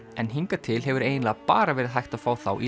en hingað til hefur eiginlega bara verið hægt að fá þá í